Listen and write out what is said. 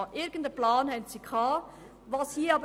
Irgendeinen Plan hat die GEF gehabt.